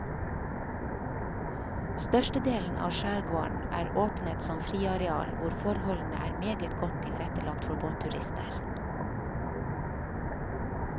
Størstedelen av skjærgården er åpnet som friareal hvor forholdene er meget godt tilrettelagt for båtturister.